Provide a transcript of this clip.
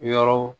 Yɔrɔw